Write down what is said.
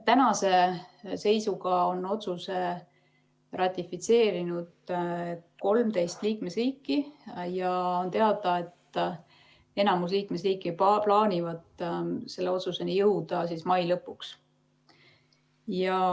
Tänase seisuga on otsuse ratifitseerinud 13 liikmesriiki ja on teada, et enamus liikmesriike plaanivad selle otsuseni jõuda mai lõpuks.